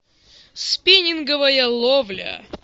спиннинговая ловля